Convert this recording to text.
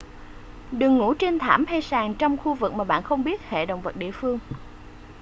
đừng ngủ trên thảm hay sàn trong khu vực mà bạn không biết hệ động vật địa phương